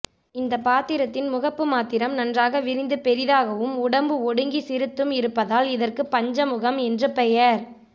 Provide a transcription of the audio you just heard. இந்த பாத்திரத்தின் முகப்பு மாத்திரம் நன்றாக விரிந்து பெரியதாகவும் உடம்பு ஒடுங்கி சிறுத்தும் இருப்பதால் இதற்கு பஞ்சமுகம் என்று பெயர்